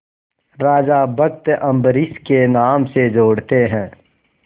राजा भक्त अम्बरीश के नाम से जोड़ते हैं